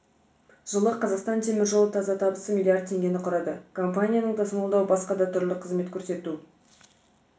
жылы қазақстан темір жолы таза табысы миллиард теңгені құрады компанияның тасымалдау басқа да түрлі қызмет көрсету